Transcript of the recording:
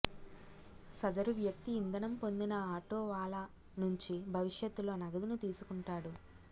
సదరు వ్యక్తి ఇంధనం పొందిన ఆటో వాలా నుంచి భవిష్యత్తులో నగదుని తీసుకుంటాడు